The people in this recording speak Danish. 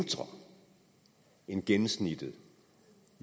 end gennemsnittet i